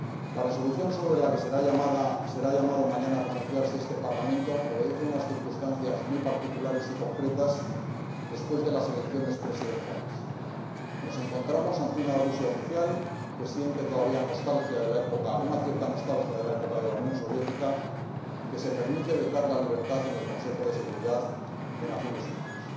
La Resolución sobre la que será llamado mañana a pronunciarse este Parlamento obedece a unas circunstancias muy particulares y concretas después de las elecciones presidenciales. Nos encontramos ante una Rusia oficial, que siente todavía una cierta nostalgia de la época de la Unión Soviética y que se permite vetar la libertad en el Consejo de Seguridad de las Naciones Unidas.